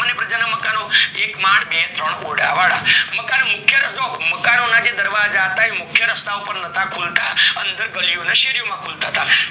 એક માળ બે ત્રણ ઓરડા વાળા મકાન જો, મકાન ના દરવાજા હતા એ મુખ્ય રસ્તા ઉપર નતા ખુલતા અંદર ગલીઓ શેરીઓ માં ખુલતા હતા